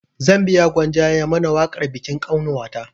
Zan biya gwanja ya mana waƙar bikin ƙanwata